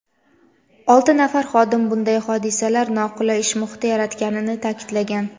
olti nafar xodim bunday hodisalar noqulay ish muhiti yaratganini ta’kidlagan.